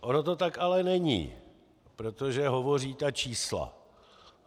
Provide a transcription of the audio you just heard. Ono to tak ale není, protože hovoří ta čísla.